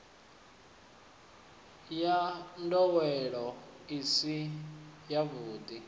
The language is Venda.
wa ndowelo i si yavhudi